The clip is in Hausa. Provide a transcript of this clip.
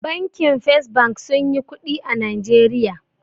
Bankin fes bank sunyi kuɗi a najeriya